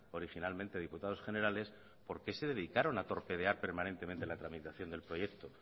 originalmente diputados generales por qué se dedicaron a torpedear permanentemente la tramitación del proyecto